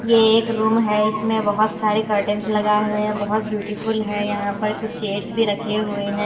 ये एक रूम है इसमें बहुत सारे कर्टेंस लगाए हुए हैं बहुत ब्यूटीफुल है यहां पर कुछ चेड्स भी रखे हुए हैं।